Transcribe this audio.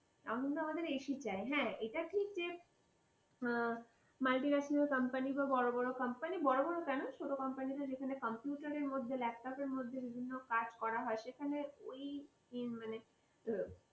আনন্দ আমাদের ac চাই, হ্যাঁ? এটা ঠিক যে multinational company বা বড় বড় company, বড় বড় কেন ছোট company তে যেখানে computer রের মধ্যে laptop এর মধ্যে বিভিন্ন কাজ করা হয় সেখানে ওই ই মানে,